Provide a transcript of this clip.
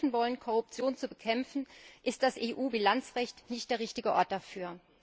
Wenn wir helfen wollen, Korruption zu bekämpfen, ist das EU Bilanzrecht nicht der richtige Ort dafür.